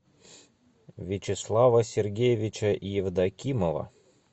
вячеслава сергеевича евдокимова